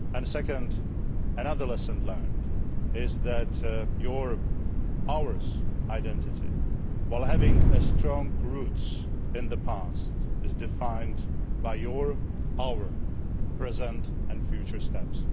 Secondly, another lesson learned is that your our identity, while having strong roots in the past, is defined by your our present and future steps.